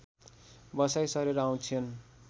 बसाइँ सरेर आउँछन्